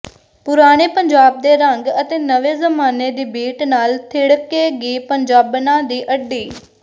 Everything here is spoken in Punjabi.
ਪੁਰਾਣੇ ਪੰਜਾਬ ਦੇ ਰੰਗ ਅਤੇ ਨਵੇਂ ਜ਼ਮਾਨੇ ਦੀ ਬੀਟ ਨਾਲ ਥਿੜਕੇਗੀ ਪੰਜਾਬਣਾਂ ਦੀ ਅੱਡੀ